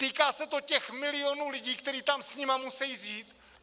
Týká se to těch milionů lidí, kteří tam s nimi musejí žít.